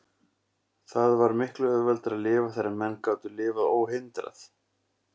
Það var miklu auðveldara að lifa þegar menn gátu lifað óhindrað.